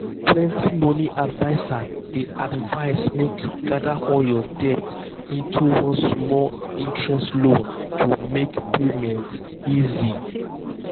plenty money advisers dey advise make you gather all your debt into one small-interest loan to make payment easy.